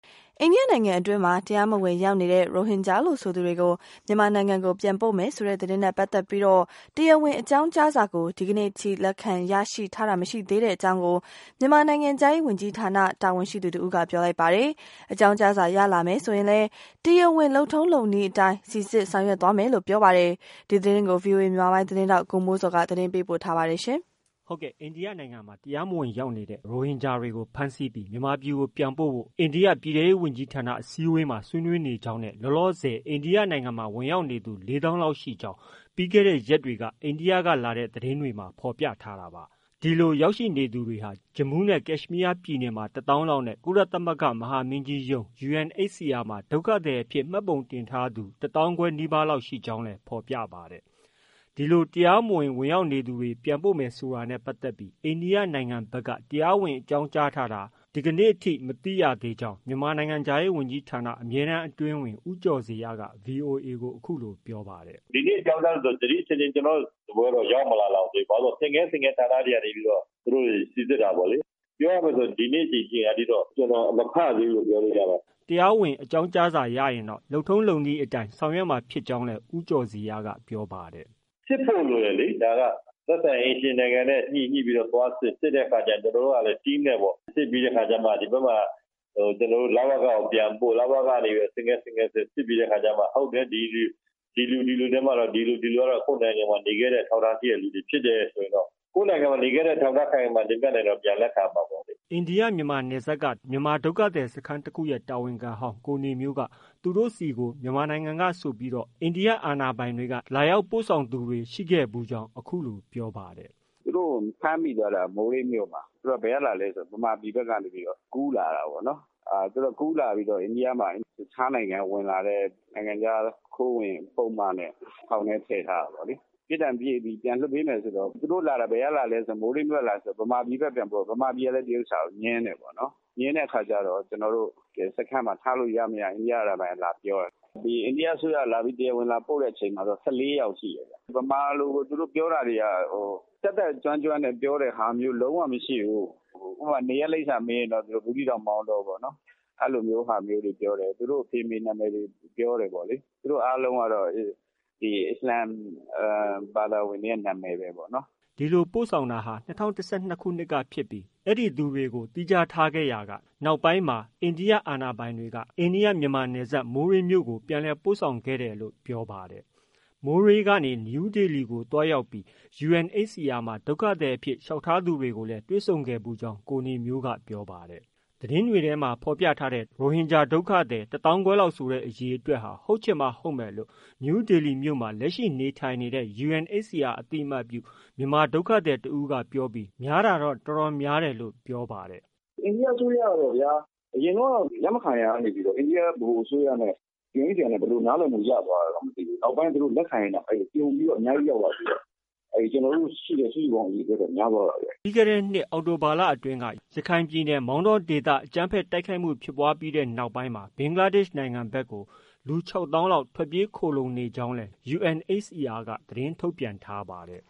အိန္ဒိယနိုင်ငံအတွင်းမှာ တရားမဝင်ရောက်နေတဲ့ ရိုဟင်ဂျာလို့ဆိုသူတွေကို မြန်မာနိုင်ငံ ကိုပြန်ပို့မယ်ဆိုတဲ့ သတင်းနဲ့ပတ်သက်ပြီး တရားဝင်အကြောင်းကြားစာကို ဒီကနေ့အထိ လက်ခံရရှိထားတာ မရှိသေးတဲ့အကြောင်း မြန်မာနိုင်ငံခြားရေးဝန်ကြီးဌာန တာဝန် ရှိသူတဦးက ပြောပါတယ်။ အကြောင်းကြားစာ ရလာမယ်ဆိုရင်လဲ တရားဝင်လုပ်ထုံးလုပ်နည်းအတိုင်း စိစစ် ဆောင်ရွက်သွားမယ်လို့ဆိုပါတယ်။ ဒီသတင်းကို ဗွီအိုအေမြန်မာပိုင်းသတင်းထောက် ကိုမိုးဇော်က တင်ပြထားပါတယ်။ အိန္ဒိယနိုင်ငံမှာ တရားမဝင်ရောက်နေတဲ့ ရိုဟင်ဂျာတွေကို ဖမ်းဆီးပြီး မြန်မာပြည် ကိုပြန်ပို့ဖို့ အိန္ဒိယ ပြည်ထဲရေးဝန်ကြီး ဌာန အစည်းအဝေး မှာ ဆွေးနွေးနေကြောင်းနဲ့ လောလောဆယ် အိန္ဒိယနိုင်ငံ မှာ ဝင်ရောက်နေသူ ၄ သောင်းလောက်ရှိကြောင်း ပြီးခဲ့တဲ့ရက်တွေက အိန္ဒိယကလာတဲ့ သတင်းတွေမှာ ဖော်ပြကြတာပါ။ အဲဒီလိုရောက်နေသူတွေဟာ ဂျမူးနဲ့ ကက်ရှ်မီးယား ပြည်နယ်မှာ ၁သောင်းလောက်နဲ့ ကုလသမဂ္ဂမဟာမင်းကြီးရုံး UNHCR မှာ ဒုက္ခသည်အဖြစ် မှတ်ပုံတင်ထားသူ ၁သောင်းခွဲနီးပါး လောက်ရှိနိုင်ကြောင်းလည်း ဖော်ပြပါတယ်။ အဲဒီလို တရားမဝင်ဝင်ရောက်နေသူတွေ ပြန်ပို့မယ်ဆိုတာနဲ့ပတ်သက်ပြီး အိန္ဒိယနိုင်ငံဖက်က တရားဝင် အကြောင်းကြားတာကို ဒီကနေ့ထိ မသိရသေးကြောင်း မြန်မာနိုင်ငံခြားရေးဌာန အမြဲတမ်းအတွင်းဝန် ဦးကျော်ဇေယျက ဗွီအိုအေကို အခုလိုပြောပါတယ်။ “ဒီနေ့အကြောင်းကြားထားလားဆိုတော့ ဒီနေ့အထိတော့ ကျနော်တို့ဆီရောက်မလာသေးဘူး။ ဘာဖြစ်လို့လဲဆိုတော့ ဆင့်ကဲဆင့်ကဲ ဌာနတွေကနေပြီးတော့ စိစစ်တာပေါ့လေ။ ပြောရမယ်ဆိုရင်တော့ ဒီနေ့ဒီအချိန်ထိတော့ ကျနော်မဖတ်ရသေးဘူးလို့ ပြောလို့ရပါတယ်။” တရားဝင် အကြောင်းကြားစာရရင်တော့ လုပ်ထုံးလုပ်နည်းအတိုင်း ဆောင်ရွက်မယ့် အကြောင်းလဲ ဦးကျော်ဇေယျက ပြောပါ တယ်။ “စစ်ဖို့လိုတယ်လေ၊ ဒါက သက်ဆိုင်ရာအိမ်ရှင်နိုင်ငံနဲ့ ညှိပြီးတော့ ဟိုက သွားစစ်၊ စစ်ပြီးတော့ ကျနော်တို့ကလည်း Team နဲ့ စစ်ပြီးတော့ အခါကျမှ ဒီဘက်မှာ ကျနော်တို့က လဝက ကို ပြန်ပို့လဝက ကနေပြီးတော့ ဆင့်ကဲဆင့်ကဲစစ်ပြီးတဲ့အခါကျတော့မှ ဟုတ်တယ် ဒီလူတွေကတော့ ကိုယ့်နိုင်ငံမှာ နေခဲ့တဲ့ အထောက်အထားရှိတဲ့လူတွေဖြစ်တယ်ဆိုရင်တော့၊ ကိုယ့်နိုင်ငံမှာ နေခဲ့တဲ့ အထောက်အထား ခိုင်ခိုင်မာမာ တင်ပြနိုင်ရင်တော့ ပြန်လက်ခံရမှာပေါ့လေ။” အိန္ဒိယမြန်မာနယ်စပ်က မြန်မာဒုက္ခသည်စခန်းတခုရဲ့ တာဝန်ခံဟောင်း ကိုနေမျိုးက သူတို့ဆီကို မြန်မာနိုင်ငံကဆိုပြီး အိန္ဒိယ အာဏာပိုင်တွေက လာရောက်ပို့ဆောင်သူတွေ ရှိခဲ့ဖူးကြောင်း အခုလို ပြောပါတယ်။ “သူတို့ကို ဖမ်းမိသွားတာက မိုးရေးမြို့မှာ သူတို့က ဘယ်ကလာသလဲ ဆိုတော့ မြန်မာပြည်ဘက်ကနေပြီးတော့ ကူးလာတာပေါ့နော် ။ ကူးလာပြီးတော့ အိန္ဒိယမှာ တခြားနိုင်ငံကနေ ဝင်လာတဲ့ နိုင်ငံခြား ခိုးဝင်ပုဒ်မနဲ့ ထောင်ထဲ ထည့်ထားတာပေါ့လေ။ ပြစ်ဒဏ်ပြည့်ပြီး ပြန်လွှတ်ပေးမယ်ဆိုတော့ သူတို့လာတာ ဘယ်ကလာသလဲဆိုတော့ မိုးရေး ဘက်က လာတယ်ဆိုတော့ မြန်မာပြည်ဘက်ပြန်ပို့ တယ်၊ မြန်မာပြည်ကလည်း ဒီဟာကို ငြင်းတယ်ပေါ့နော်၊ ငြင်းတဲ့အခါကျတော့ ကျနော်တို့ စခန်းမှာ ထားလို့ရမရ အိန္ဒိယကလည်း လာပြောတယ်ပေါ့နော်။ အိန္ဒိယအစိုးရက တရားဝင်လာပို့တဲ့အချိန်မှာတော့ ၁၄ ယောက်ရှိတယ်။ မြန်မာလို သူတို့ပြောတာတွေက တတ်တတ်ကျွမ်းကျွမ်းနဲ့ သူတို့ ပြောတာတွေလုံးဝမရှိဘူး။ ဥပမာ-နေရပ်လိပ်စာမေးရင်တော့ သူတို့ ဘူးသီးတောင်၊ မောင်တောပေါ့နော်။ အဲလိုမျိုးတွေပြောတယ်၊ သူတို့အဖေအမေတွေကိုပြောတယ်။ သူတို့အားလုံးကတော့ ဒီ အစ္စလာမ်ဘာသာဝင် တွေရဲ့ နာမည်ပဲနော်။” ဒီလိုပို့ဆောင်တာ ၂၀၁၂ ခုနှစ်ကဖြစ်ပြီး သူတို့ကို သီးခြားနေရာချထားခဲ့ရာက နောက်ပိုင်းမှာ အိန္ဒိယ အာဏာပိုင်တွေက အိန္ဒိယ- မြန်မာနယ်စပ် မိုးရေးမြို့ကို ပြန်လည် ပို့ဆောင်ခဲ့တယ်လို့ ပြောပါတယ်။ မိုးရေးမြို့ကနေ နယူးဒေလီကိုသွားရောက်ပြီး UNHCR မှာ ဒုက္ခသည်အဖြစ် လျှောက်ထားသူတွေကိုလည်း တွေ့ဆုံခဲ့ဖူးကြောင်း ကိုနေမျိုးက ပြောပါတယ်။ သတင်းတွေထဲမှာ ဖော်ပြထားတဲ့ ဒုက္ခသည် ၁ သောင်းခွဲဆိုတဲ့အရေအတွက်ဟာ ဟုတ်ချင်မှဟုတ်မယ်လို့ နယူးဒေလီမြို့မှာ လက်ရှိနေထိုင်နေတဲ့ UNHCR အသိအမှတ်ပြု မြန်မာဒုက္ခသည်တဦးကပြောပြီး များတာတော့ တော်တော်များတယ်လို့ ပြောပါတယ်။ “အိန္ဒိယအစိုးရကပေါ့ဗျာ အရင်တုန်းက လက်မခံရကနေပြီးတော့ အိန္ဒိယ ဗဟိုအစိုးရနဲ့ UNHCR ဘယ်လိုနားလည်မှုရလဲမသိဘူး။ နောက်ပိုင်းသူတို့လက်ခံလို့ ပြုံပြီးတော့အများကြီးရောက်လာပြီးတော့ ကျနော်တို့ ရှိတဲ့ စုစုပေါင်းအရေအတွက်ထက်များသွားတယ်။” ပြီးခဲ့တဲ့နှစ် အောက်တိုဘာလအတွင်းက ရခိုင်ပြည်နယ် မောင်တောဒေသ အကြမ်းဖက် တိုက်ခိုက်မှုဖြစ်ပွားခဲ့ပြီးနောက်ပိုင်းမှာ ဘင်္ဂလားဒေရှ်နိုင်ငံကို လူ ၆ သောင်းလောက် ထွက်ပြေးခိုလှုံနေကြောင်း UNHCR က သတင်းထုတ်ပြန်ထားပါတယ်